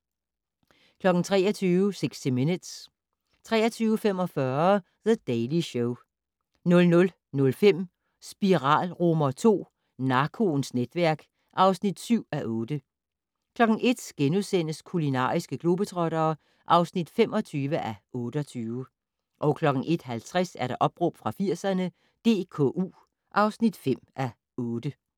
23:00: 60 Minutes 23:45: The Daily Show 00:05: Spiral II: Narkoens netværk (7:8) 01:00: Kulinariske globetrottere (25:28)* 01:50: Opråb fra 80'erne - DKU (5:8)